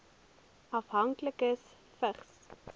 afhanklikes vigs